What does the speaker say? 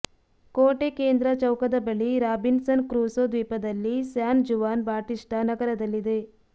ಕೋಟೆ ಕೇಂದ್ರ ಚೌಕದ ಬಳಿ ರಾಬಿನ್ಸನ್ ಕ್ರುಸೊ ದ್ವೀಪದಲ್ಲಿ ಸ್ಯಾನ್ ಜುವಾನ್ ಬಾಟಿಸ್ಟಾ ನಗರದಲ್ಲಿದೆ